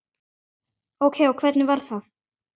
Ókei og hvernig var það?